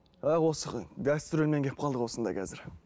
а осы гастрольмен келіп қалдық осында қазір